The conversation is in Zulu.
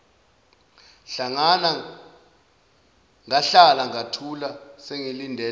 ngahlala ngathula sengilindele